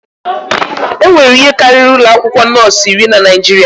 Enwere ihe karịrị ụlọ akwụkwọ nọọsụ iri na Naịjirịa.